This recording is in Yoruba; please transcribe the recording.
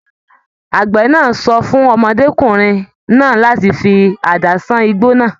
Àgbẹ náà sọ fún ọmọdékunrin náà láti fí àdá sàn igbó náà.